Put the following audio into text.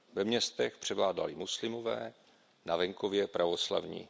Ve městech převládali muslimové, na venkově pravoslavní.